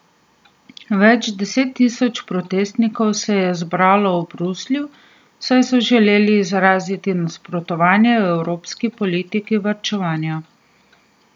Več deset tisoč protestnikov se je zbralo v Bruslju, saj so želeli izraziti nasprotovanje evropski politiki varčevanja.